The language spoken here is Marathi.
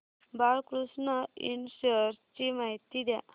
बाळकृष्ण इंड शेअर्स ची माहिती द्या